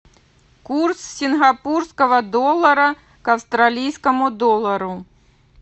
курс сингапурского доллара к австралийскому доллару